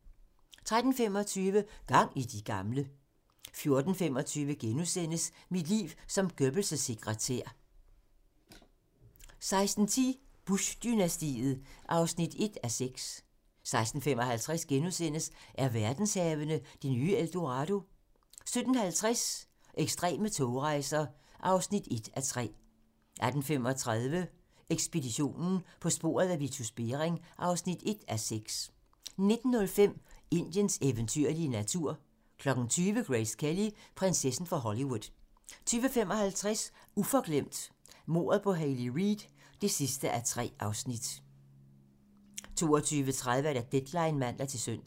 13:25: Gang i de gamle! 14:25: Mit liv som Goebbels' sekretær * 16:10: Bush-dynastiet (1:6) 16:55: Er verdenshavene det nye El Dorado? * 17:50: Ekstreme togrejser (1:3) 18:35: Ekspeditionen - På sporet af Vitus Bering (1:6) 19:05: Indiens eventyrlige natur 20:00: Grace Kelly: Prinsessen fra Hollywood 20:55: Uforglemt: Mordet på Hayley Reid (3:3) 22:30: Deadline (man-søn)